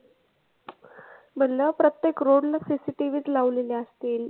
म्हणलं प्रत्येक road ला CCTV च लावलेले असतील.